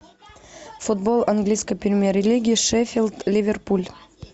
футбол английской премьер лиги шеффилд ливерпуль